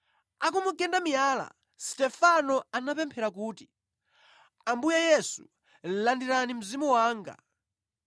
Akumugenda miyala, Stefano anapemphera kuti, “Ambuye Yesu, landirani mzimu wanga.”